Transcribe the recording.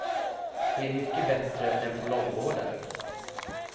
Det är mycket bättre än på långvården.